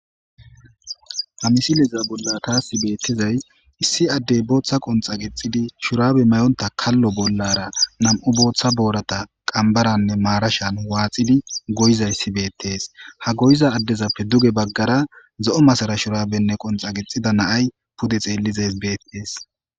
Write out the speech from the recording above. Ha misileza bolla thaassi beeththizay issi addey booththa qonxxa qixxidi shuraabe mayonththa kallo bollara nam7u booththa booratha qambaranne maarashan waaxidi goyizayssi beeththees; ha goyiza addezappe duge baggara zo7o masara shuraabenne qonxxa qixxida na7ay pude xeellies beeththees.